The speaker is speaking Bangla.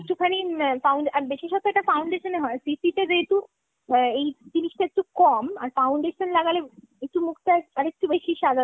একটুখানি বাব্বলে আর বিশেষতঃ এটা foundation এ হয়। CCতে যেহেতু আ এই জিনিসটা একটু কম ,আর foundation লাগালে একটু মুখটা আর একটু বেশি সাদা